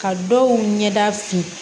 Ka dɔw ɲɛda fin